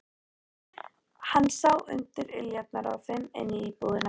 Hann sá undir iljarnar á þeim inn í íbúðina.